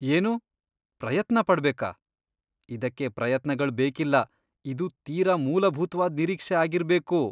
ಏನು? ಪ್ರಯತ್ನ ಪಡ್ಬೇಕಾ? ಇದಕ್ಕೆ ಪ್ರಯತ್ನಗಳ್ ಬೇಕಿಲ್ಲ, ಇದು ತೀರಾ ಮೂಲಭೂತ್ವಾದ್ ನಿರೀಕ್ಷೆ ಆಗಿರ್ಬೇಕು.